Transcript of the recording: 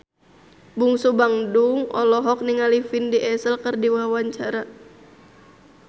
Bungsu Bandung olohok ningali Vin Diesel keur diwawancara